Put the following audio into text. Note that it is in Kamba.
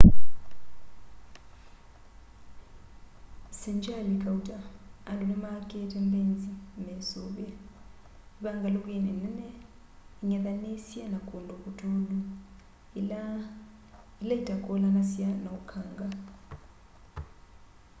sengyali kauta andu nimakite mbeinzi mesuvie ivangalukini nene ing'ethanisye na kundu kutulu ila ila itakulanasya na ukanga